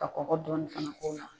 Ka kɔkɔ dɔɔni fana k'o la.